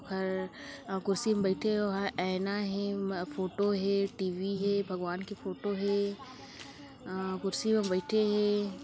ओहर अं-- कुर्सी मा बैयठे ओह एना हेम-- फोटो हे टीवी हे भगवान की फोटो हे अं-- कुर्सी म बैठे हे।